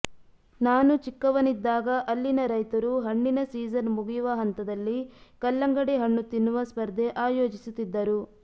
ನಾನು ಚಿಕ್ಕವನಿದ್ದಾಗ ಅಲ್ಲಿನ ರೈತರು ಹಣ್ಣಿನ ಸೀಜನ್ ಮುಗಿಯುವ ಹಂತದಲ್ಲಿ ಕಲ್ಲಂಗಡಿ ಹಣ್ಣು ತಿನ್ನುವ ಸ್ಪರ್ಧೆ ಆಯೋಜಿಸುತ್ತಿದ್ದರು